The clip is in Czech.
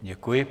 Děkuji.